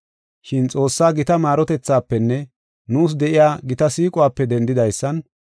Shin Xoossaa gita maarotethaafenne nuus de7iya gita siiquwape dendidaysan,